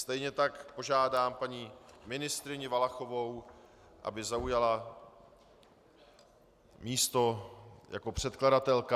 Stejně tak požádám paní ministryni Valachovou, aby zaujala místo jako předkladatelka.